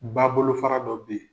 Ba bolofara dɔ bɛ yen